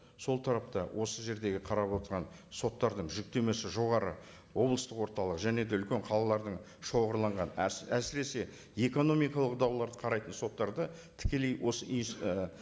сол тарапта осы жердегі қарап отырған соттардың жүктемесі жоғары облыстық орталық және де үлкен қалалардың шоғырланған әсіресе экономикалық дауларды қарайтын соттарды тікелей осы і